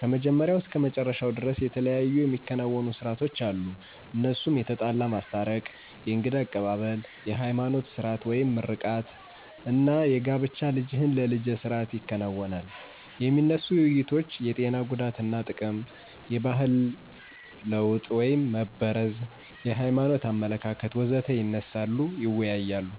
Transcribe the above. ከመጀመሪያው እስከ መጨረሻው ደርስ የተለያዩ የሚከናወኑ ሰርአቶች አሉ እነሱም የተጣላ ማስታረቅ፣ የእንግዳ አቀባብል፣ የሀይማኖት ስርአት (ምርቃት) አና የጋብቻ ልጅህን ለልጀ ስርአት ይከናወናል። የሚነሱ ውይይቶች የጤና ጉዳትና ጥቅም፣ የባህል ለወጥ (መበረዝ) የሀይማኖት አመለካከት.... ወዘተ ይነሳሉ ይወያያሉ።